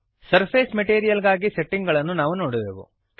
surface material ಗಾಗಿ setting ಗಳನ್ನು ನಾವು ನೋಡುವೆವು